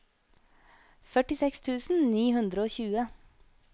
førtiseks tusen ni hundre og tjue